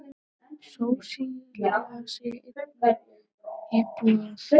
Sósíalismi í einni íbúð.